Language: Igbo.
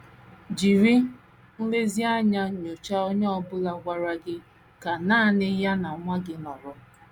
Jiri nlezianya nyochaa onye ọ bụla gwara gị ka nanị ya na nwa gị nọrọ.